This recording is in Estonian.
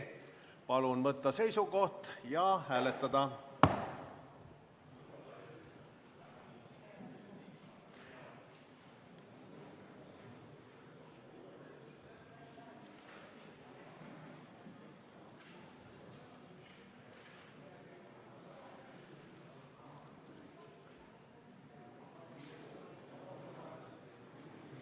Palun võtta seisukoht ja hääletada!